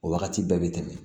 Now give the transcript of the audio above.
O wagati bɛɛ bɛ tɛmɛ